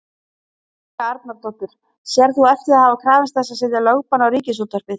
Helga Arnardóttir: Sérð þú eftir því að hafa krafist þess að setja lögbann á Ríkisútvarpið?